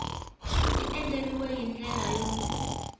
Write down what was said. ti andlariwile hi ndlela yo